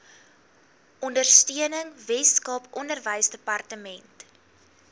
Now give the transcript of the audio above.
ondersteuning weskaap onderwysdepartement